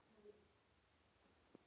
Inga Hrefna.